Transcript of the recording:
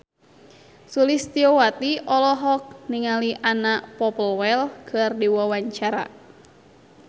Sulistyowati olohok ningali Anna Popplewell keur diwawancara